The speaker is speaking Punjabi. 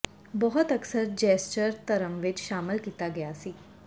ਬਹੁਤ ਅਕਸਰ ਜੈਸਚਰ ਧਰਮ ਵਿਚ ਸ਼ਾਮਲ ਕੀਤਾ ਗਿਆ ਸੀ